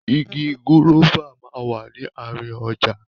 Igi gúrọ́fà máa wà ní àárín ọjà.